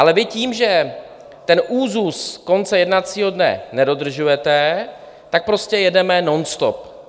Ale vy tím, že ten úzus konce jednacího dne nedodržujete, tak prostě jedeme nonstop.